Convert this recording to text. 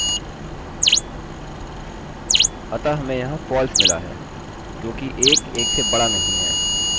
अतः हमें यहाँ false मिला है क्योंकि 1 1 से बड़ा नहीं है